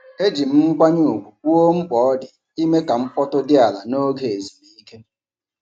Eji m nkwanye ùgwù kwuo mkpa ọ dị ime ka mkpọtụ dị ala n'oge ezumike.